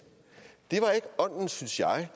det synes jeg